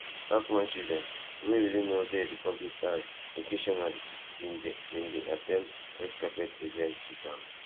hackman children wey really no dey di public eye occasionally bin dey bin dey at ten d red carpet events wit am